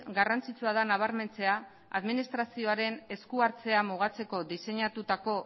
garrantzitsua da nabarmentzea administrazioaren esku hartzea mugatzeko diseinatutako